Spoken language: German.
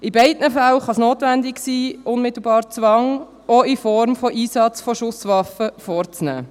In beiden Fällen kann es notwendig sein, unmittelbar Zwang, auch in Form von Schusswaffeneinsatz, auszuüben.